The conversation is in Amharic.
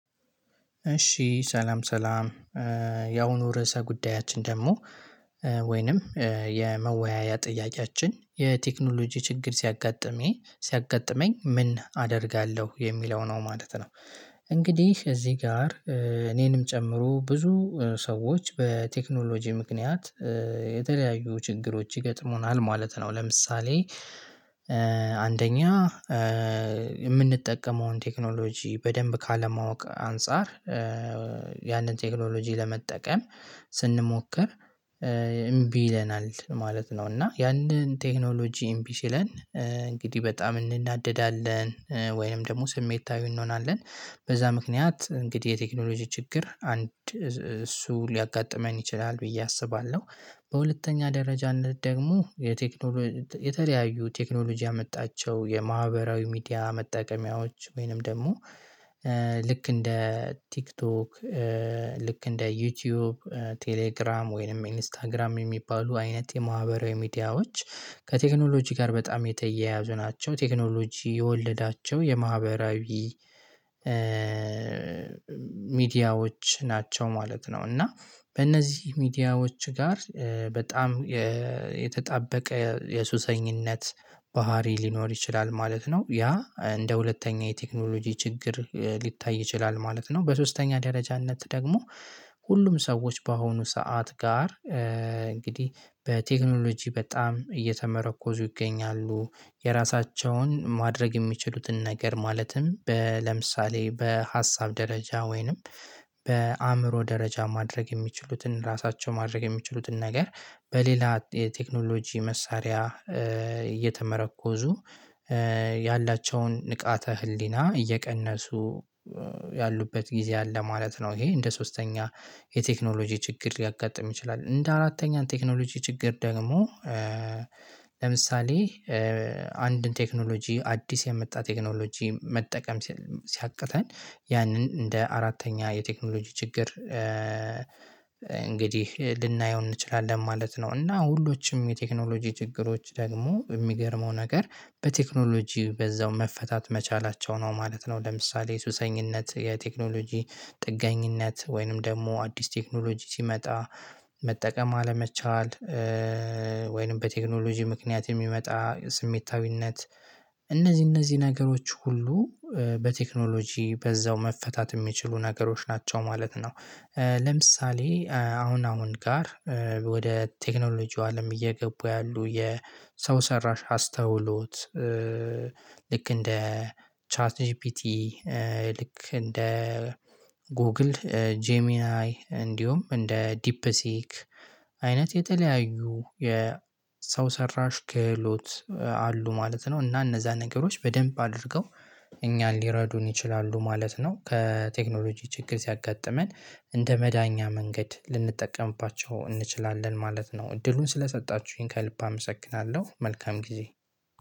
እሺ ሰላም ሰላም ያሁኑ ርዕሰ ጉዳያችን ደግሞ ወይንም የመወያያ ጥያቄያችን የቴክኖሎጂ ችግር ሲያጋጥሜ ሲያጋጥመኝ ምን አደርጋለሁ የሚለው ነው ማለት ነው። እንግዲህ እዚህ ጋር እኔንም ጨምሮ ብዙ ሰዎች በቴክኖሎጂ ምክንያት የተለያዩ ችግሮች ይገጥሙናል ማለት ነው። ለምሳሌ አንደኛ የምንጠቀመውን ቴክኖሎጂ በደንብ ካለማወቅ አንፃር ያንን ቴክኖሎጂ ለመጠቀም ስንሞክር እምቢ ይለናል ማለት ነው እና ያንን ቴክኖሎጂ እምቢ ሲለን እንግዲህ በጣም እንናደዳለን ወይም ደግሞ ስሜታዊ እንሆናለን በዛ ምክንያት እንግዲህ የቴክኖሎጂ ችግር አንድ እሱ ሊያጋጥመን ይችላል ብዬ አስባለሁ። በሁለተኛ ደረጃነት ደግሞ የቴክኖሎጂ የተለያዩ ቴክኖሎጂ ያመጣቸው የማህበራዊ ሚዲያ መጠቀሚያዎች ወይንም ደግሞ ልክ እንደ ቲክቶክ ልክ እንደ ዩቲዩብ ቴሌግራም ወይንም ኢንስታግራም የሚባሉ አይነት የማህበራዊ ሚዲያዎች ከቴክኖሎጂ ጋር በጣም የተያያዙ ናቸው ቴክኖሎጂ የወለዳቸው የማህበራዊ ሚዲያዎች ናቸው ማለት ነው እና በእነዚህ ሚዲያዎች ጋር በጣም የተጣበቀ የሱሰኝነት ባህሪ ሊኖር ይችላል ማለት ነው። ያ እንደ ሁለተኛ የቴክኖሎጂ ችግር ሊታይ ይችላል ማለት ነው። በሶስተኛ ደረጃነት ደግሞ ሁሉም ሰዎች በአሁኑ ሰዓት ጋር እንግዲህ በቴክኖሎጂ በጣም እየተመረኮዙ ይገኛሉ የራሳቸውን ማድረግ የሚችሉትን ነገር ማለትም ለምሳሌ በሀሳብ ደረጃ ወይንም በአእምሮ ደረጃ ማድረግ የሚችሉትን ራሳቸው ማድረግ የሚችሉትን ነገር በሌላ የቴክኖሎጂ መሳሪያ እየተመረኮዙ ያላቸውን ንቃተ ህሊና እየቀነሱ ያሉበት ጊዜ አለ ማለት ነው ይሄ እንደ ሶስተኛ የቴክኖሎጂ ችግር ሊያጋጥም ይችላል። እንደ አራተኛው ቴክኖሎጂ ችግር ደግሞ ለምሳሌ አንድን ቴክኖሎጂ አዲስ የመጣ ቴክኖሎጂ መጠቀም ሲያቅተን ያንን እንደ አራተኛ የቴክኖሎጂ ችግር እንግዲህ ልናየው እንችላለን ማለት ነው። እና ሁሉዎቹም የቴክኖሎጂ ችግሮች ደግሞ የሚገርመው ነገር በቴክኖሎጂ በዛው መፈታት መቻላቸው ነው ማለት ነው። ለምሳሌ የሱሰኝነት የቴክኖሎጂ ጥገኝነት ወይንም ደግሞ አዲስ ቴክኖሎጂ ሲመጣ መጠቀም አለመቻል ወይንም በቴክኖሎጂ ምክንያት የሚመጣ ስሜታዊነት እነዚህ እነዚህ ነገሮች ሁሉ በቴክኖሎጂ በዛው መፈታት የሚችሉ ነገሮች ናቸው ማለት ነው። ለምሳሌ አሁን አሁን ጋር ወደ ቴክኖሎጂው አለም እየገቡ ያሉ የሰው ሰራሽ አስተውሎት ልክ እንደ ቻት ጂፒቲ ልክ እንደ ጎግል ጄሚናይ እንዲሁም እንደ ዲፕሲክ አይነት የተለያዩ የሰው ሰራሽ ክህሎት አሉ ማለት ነው። እና እነዛ ነገሮች በደንብ አድርገው እኛን ሊረዱን ይችላሉ ማለት ነው። ከቴክኖሎጂ ችግር ሲያጋጥመን እንደ መዳኛ መንገድ ልንጠቀምባቸው እንችላለን ማለት ነው። እድሉን ስለሰጣችሁኝ ከልብ አመሰክናለሁ መልካም ጊዜ